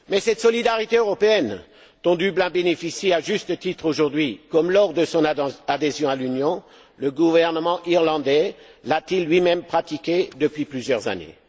Mais cette solidarité européenne, dont Dublin bénéficie à juste titre aujourd'hui, comme lors de son adhésion à l'Union, le gouvernement irlandais l'a t il lui même pratiquée depuis plusieurs années?